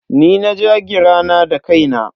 Ni na ja gira na da kaina.